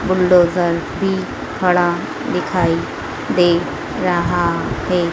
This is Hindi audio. बुलडोजर भी खड़ा दिखाई दे रहा है।